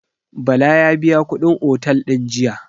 Bala ya biya kuɗin otel din jiya.